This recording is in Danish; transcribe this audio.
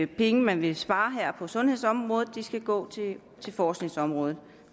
penge man vil spare på sundhedsområdet skal gå til forskningsområdet